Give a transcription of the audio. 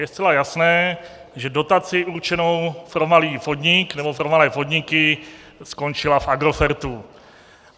Je zcela jasné, že dotace určená pro malý podnik nebo pro malé podniky skončila v Agrofertu.